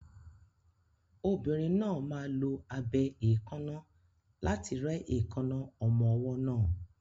Obìnrin náà máa lo abẹ èékánná láti rẹ́ èékánná ọmọ ọwọ́ náà.